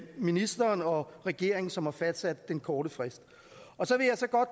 ministeren og regeringen som har fastsat den korte frist